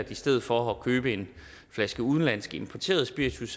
i stedet for at købe en flaske udenlandsk importeret spiritus